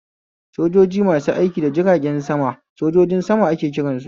Sojaji masu aiki da jiragen sama sojojin sama ake kiransu